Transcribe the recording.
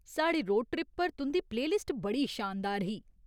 साढ़े road trip पर तुं'दी प्ले लिस्ट बड़ी शानदार ही।